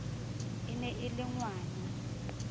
e ne e le ngwana